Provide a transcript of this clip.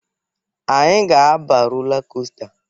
Anyị ga-aba rola kosta.